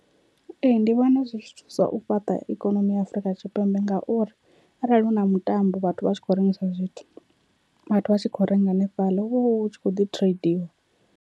Ee, ndi vhona zwi tshi thusa u fhaṱa ikonomi ya Afrika Tshipembe ngauri arali huna mutambo vhathu vha tshi khou rengisa zwithu, vhathu vha tshi khou renga hanefhaḽa hu vha hu tshi kho ḓi tradiwa.